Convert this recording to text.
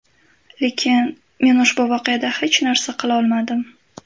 Lekin men ushbu voqeada hech narsa qilolmadim.